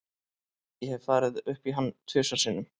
Ég hef farið upp í hann tvisvar sinnum.